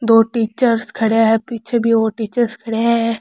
दो टीचर्स खड़े है पीछे भी और टीचरस खड़े है।